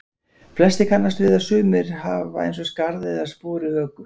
Flestir kannast við að sumir hafa eins og skarð eða spor í höku.